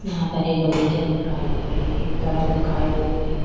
यहाँ पर एक बगीचा दिखाई दे रही है सड़क दिखाई दे रही --